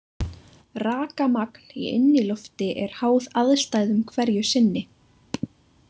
Rakamagn í innilofti er háð aðstæðum hverju sinni.